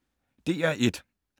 DR1